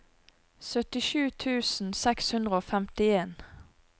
syttisju tusen seks hundre og femtien